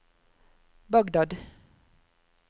Bagdad